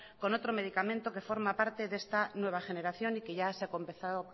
con otro medicamento que forma parte de esta nueva generación y que ya se ha empezado